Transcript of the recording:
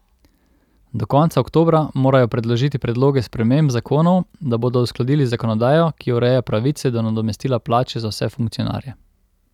Do konca oktobra morajo predložiti predloge sprememb zakonov, da bodo uskladili zakonodajo, ki ureja pravice do nadomestila plače za vse funkcionarje.